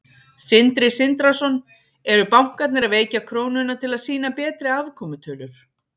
Sindri Sindrason: Eru bankarnir að veikja krónuna til að sýna betri afkomutölur?